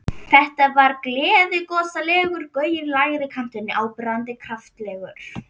Þetta var gleiðgosalegur gaur í lægri kantinum, áberandi kraftalegur.